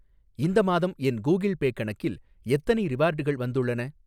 இந்த மாதம் என் கூகிள் பே கணக்கில் எத்தனை ரிவார்டுகள் வந்துள்ளன?